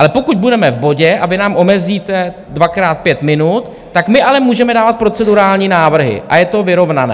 Ale pokud budeme v bodě a vy nám omezíte dvakrát pět minut, tak my ale můžeme dávat procedurální návrhy a je to vyrovnané.